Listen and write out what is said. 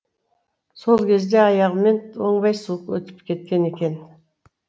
сол кезде аяғыммен оңбай суық өтіп кеткен екен